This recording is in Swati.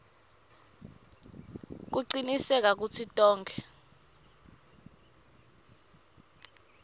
kucinisekisa kutsi tonkhe